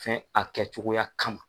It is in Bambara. Fɛn a kɛcogoya kama.